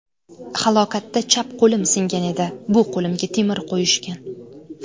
Halokatda chap qo‘lim singan edi, bu qo‘limga temir qo‘yishgan.